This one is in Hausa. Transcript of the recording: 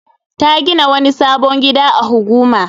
Ta gina wani sabon gida a Huguma.